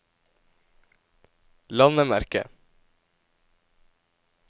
landemerke